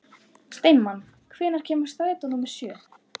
Steinmann, hvenær kemur strætó númer sjö?